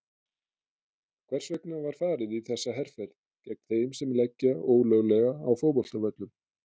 Hvers vegna var farið í þessa herferð gegn þeim sem leggja ólöglega á fótboltavöllum?